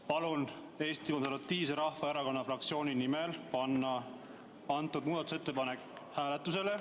Palun Eesti Konservatiivse Rahvaerakonna fraktsiooni nimel panna see muudatusettepanek hääletusele.